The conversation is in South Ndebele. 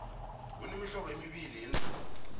kunemihlobo embili yeendlovu